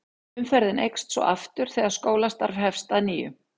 Umferðin eykst svo aftur þegar skólastarf hefst að nýju.